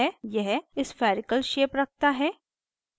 यह spherical spherical shape रखता है